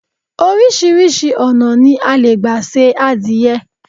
Oríṣiríṣi ọ̀nà ni a le gba se adìẹ